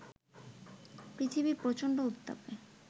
পৃথিবী প্রচণ্ড উত্তাপে